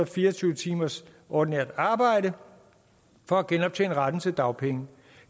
fire og tyve timers ordinært arbejde for at genoptjene retten til dagpenge